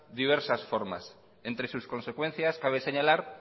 diversas formas entre sus consecuencias cabe señalar